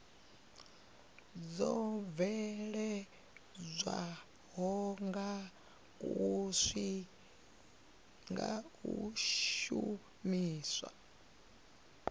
dzo bveledzwaho nga u shumiswa